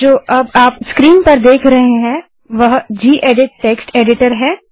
तो जो अब आप स्क्रीन पर देख रहे हैं वह जिएडिट टेक्स्ट एडिटर है